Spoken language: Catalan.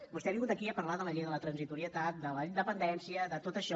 vostè ha vingut aquí a parlar de la llei de la transitorietat de la independència de tot això